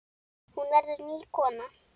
Hún verður ný kona.